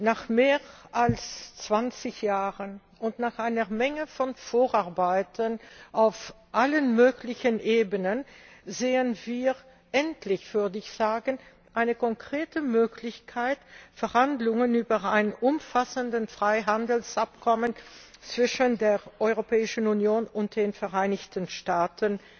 Nach mehr als 20 Jahren und nach einer Menge von Vorarbeiten auf allen möglichen Ebenen sehen wir endlich, würde ich sagen eine konkrete Möglichkeit, Verhandlungen über ein umfassendes Freihandelsabkommen zwischen der Europäischen Union und den Vereinigten Staaten